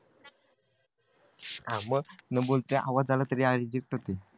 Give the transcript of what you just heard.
हा मग मी बोलतोय आवाज आला तरी